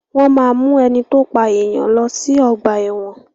Wọ́n máa mu ẹni to pa èèyàn lọ sí ọ̀gba ẹ̀wọ̀n.